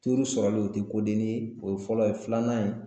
sɔrɔli o tɛ kodennin ye o ye fɔlɔ ye filanan ye